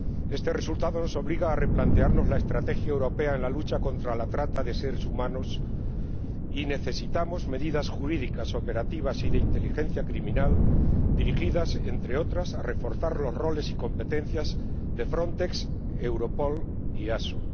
Este resultado nos obliga a replantearnos la estrategia europea en la lucha contra la trata de seres humanos y necesitamos medidas jurídicas, operativas y de inteligencia criminal dirigidas, entre otras cosas, a reforzar los roles y competencias de Frontex, Europol y ASO.